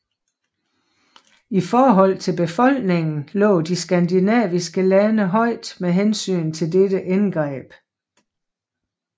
I forhold til befolkningen lå de skandinaviske lande højt med hensyn til dette indgreb